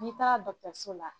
N'i taara dɔgɔtɔrɔso la